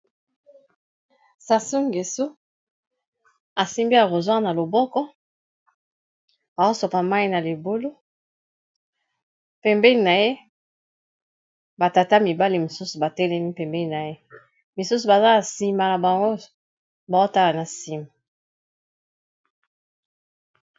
Sassou Ngeso asimbi arrossoir na loboko aosopa mayi na libulu pembeni na ye ba tata mibale mosusu batelemi pembeni na ye. misusu baza na nsima na bango ba otala na nsima.